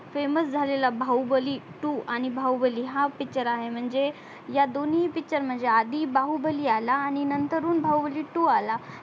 famous झालेला Baahubali two आणि बाहुबली हा picture आहे म्हणजे या दोन्ही picture म्हणजे आधी बाहुबली आला आणि नंतर हून बाहुबली two आला